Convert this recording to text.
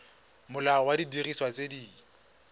molao wa didiriswa tse di